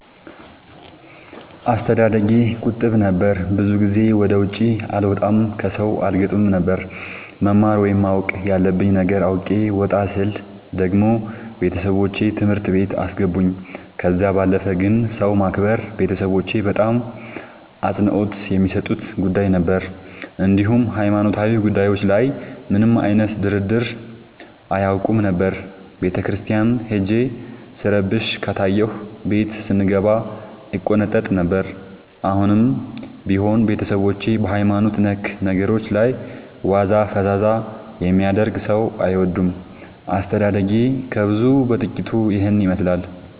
አስተዳደጌ ቁጥብ ነበር። ብዙ ጊዜ ወደ ውጪ አልወጣም ከሠው አልገጥምም ነበር። መማር ወይም ማወቅ ያለብኝ ነገር አውቄ ወጣ ስል ደግሞ ቤተሠቦቼ ትምህርት ቤት አስገቡኝ። ከዛ ባለፈ ግን ሰው ማክበር ቤተሠቦቼ በጣም አፅንኦት የሚሠጡት ጉዳይ ነበር። እንዲሁም ሀይማኖታዊ ጉዳዮች ላይ ምንም አይነት ድርድር አያውቁም ነበር። ቤተክርስቲያን ሄጄ ስረብሽ ከታየሁ ቤት ስንገባ እቆነጠጥ ነበር። አሁንም ቢሆን ቤተሠቦቼ በሀይማኖት ነክ ነገሮች ላይ ዋዛ ፈዛዛ የሚያደርግ ሠው አይወዱም። አስተዳደጌ ከብዙው በጥቂቱ ይህን ይመሥላል።